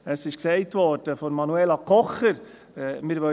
Es wurde von Manuela Kocher gesagt: